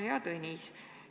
Hea Tõnis!